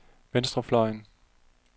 venstrefløjen